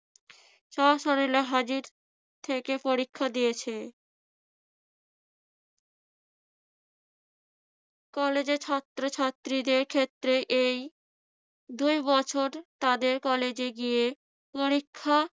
স্বশরীরে হাজির থেকে পরীক্ষা দিয়েছে। কলেজে ছাত্রছাত্রীদের ক্ষেত্রে এই দুই বছর তাদের কলেজে গিয়ে পরীক্ষা